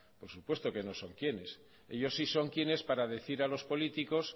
por supuesto que no son quiénes ellos sí son quiénes para decir a los políticos